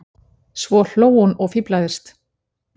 Svo hló hún og fíflaðist.